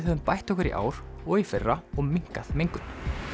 höfum bætt okkur í ár og í fyrra og minnkað mengun